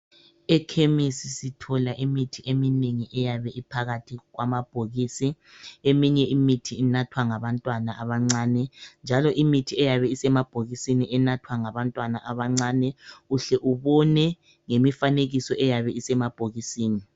EKhemisi sithola imithi eminengi eyabe iphakathi kwamabhokisi. Eminye imithi inathwa ngabantwana abancane njalo imithi eyabe isemabhokisini inathwa ngabantwana abancane uhle ubone ngemifanekiso eyabe isemabhokisini.